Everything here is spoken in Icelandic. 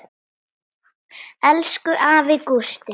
Elsku afi Gústi.